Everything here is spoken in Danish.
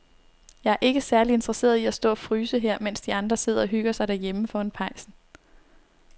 Jeg er ikke særlig interesseret i at stå og fryse her, mens de andre sidder og hygger sig derhjemme foran pejsen.